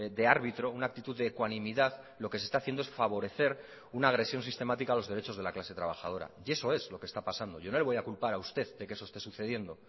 de árbitro una actitud de ecuanimidad lo que se está haciendo es favorecer una agresión sistemática a los derechos de la clase trabajadora y eso es lo que está pasando yo no le voy a culpar a usted de que eso esté sucediendo